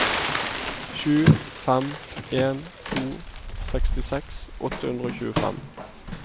sju fem en to sekstiseks åtte hundre og tjuefem